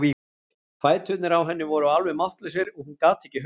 Fæturnir á henni voru alveg máttlausir og hún gat ekki hugsað.